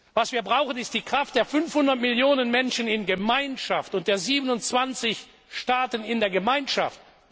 Was wir brauchen, ist die Kraft der 500 Millionen Menschen in der Gemeinschaft und der 27 Staaten in der Gemeinschaft!